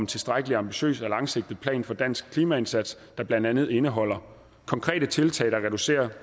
tilstrækkelig ambitiøs og langsigtet plan for dansk klimaindsats der blandt andet indeholder konkrete tiltag der reducerer